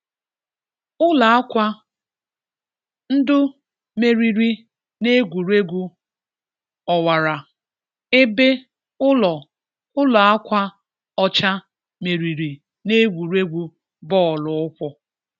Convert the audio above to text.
Ụlọ akwa ndụ meriri n'egwuregwu ọwara ebe Ụlọ Ụlọ akwa ọcha meriri n'egwuregwu bọọlụ ụkwụ